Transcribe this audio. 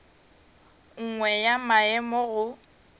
nngwe ya maemo a go